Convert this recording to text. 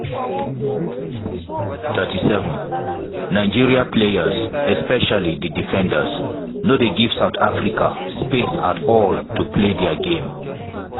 37' nigeria players especially di defenders no dey give south africa space at all to play dia game.